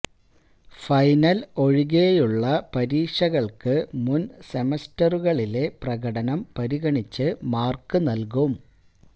final ഒഴികെയുള്ള പരീക്ഷകൾക്ക് മുൻ സെമസ്റ്ററുകളിലെ പ്രകടനം പരിഗണിച്ച് മാർക്ക് നൽകും